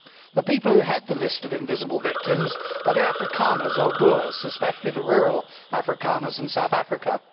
The people who head the list of invisible victims are the Afrikaners or Boers, especially the rural Afrikaners in South Africa.